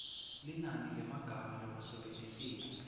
linani lemagama lowasebentisile